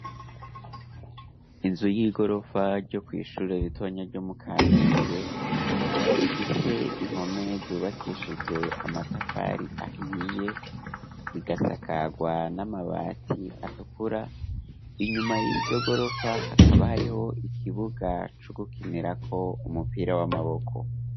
Inzu y'igorofa ryo kw'ishure ritonya ryo mu Kamenge, rifise impome zubakeshijwe amatafari ahiye, rigasakarwa n'amabati atukura, inyuma y'iryo gorofa, hakaba hariho ikibuga, c'ugukinirako umupira, w'amaboko.